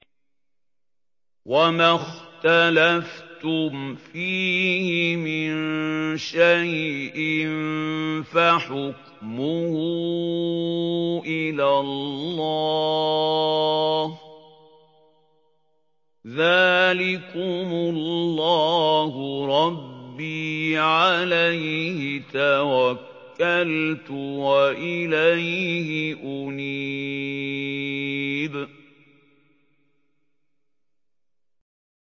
وَمَا اخْتَلَفْتُمْ فِيهِ مِن شَيْءٍ فَحُكْمُهُ إِلَى اللَّهِ ۚ ذَٰلِكُمُ اللَّهُ رَبِّي عَلَيْهِ تَوَكَّلْتُ وَإِلَيْهِ أُنِيبُ